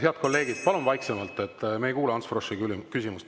Head kolleegid, palun vaiksemalt, me ei kuule Ants Froschi küsimust.